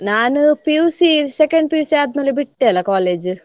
ನಾನು PUC second PUC ಆದ್ಮೇಲೆ ಬಿಟ್ಟೆ ಅಲಾ college .